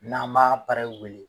N'an b'a wele.